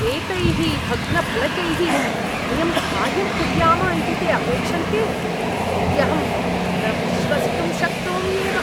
एतैः भग्नफलकैः वयं कार्यं कुर्याम इति ते अपेक्षन्ते इत्यहं न विश्वसितुं शक्नोम्येव।